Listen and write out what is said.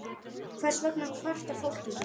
Hvers vegna kvartar fólk ekki?